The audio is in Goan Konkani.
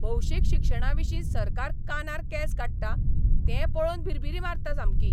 भौशीक शिक्षणाविशीं सरकार कानार केंस काडटा तें पळोवन भिरभिरी मारता सामकी.